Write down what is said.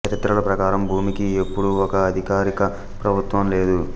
చరిత్రల ప్రకారం భూమికి ఎప్పుడు ఒక అధికారక ప్రభుత్వం లేదు